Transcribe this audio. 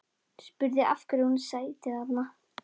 Spurði af hverju hún sæti þarna.